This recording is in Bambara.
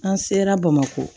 An sera bamako